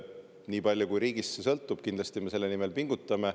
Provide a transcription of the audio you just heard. Nii palju kui see riigist sõltub, kindlasti me selle nimel pingutame.